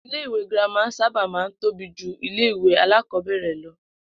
Ilé ìwé girama sábà máa ń tóbi ju ilé ìwé alákò̩ó̩bè̩rè̩ lo̩